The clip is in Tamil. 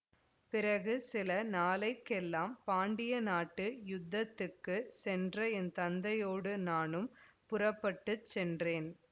பிறகு சில நாளை கெல்லாம் பாண்டிய நாட்டு யுத்தத்துக்குச் சென்ற என் தந்தையோடு நானும் புறப்பட்டு சென்றேன்